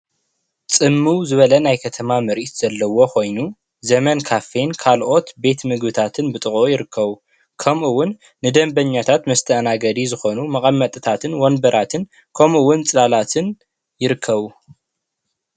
ፅምው ዝበለ ናይ ከተማ ምርኢት ኮይኑ ዘመን ካፌን ካልኦት ቤት ምግብታትን ብጥቂኡ ይርከቡ፡፡ ከምኡ እውን ንደንበኛታት መስተኣናገዲ ዝኾን መቀመጥታትን ወንበራትን ከምኡ እውን ፅላላትን ይርከቡ፡፡